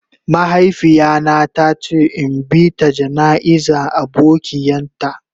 Mahaifiya na ta ce in bi ta jana'iza abokian ta.